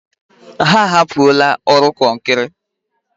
Ha ahapụla ọrụ kọnkrị.